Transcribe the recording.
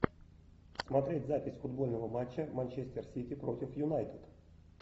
смотреть запись футбольного матча манчестер сити против юнайтед